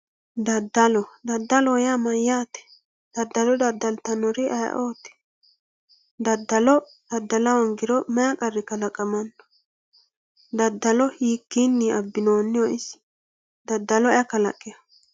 Dadalo dadaloho yaa mayaate dadalo dadaltanori ayiooti dadalo dadala hongiro mayii qari kalaqamano dadalo hiikini abinoniho isi dadalo aiy kalaqewo?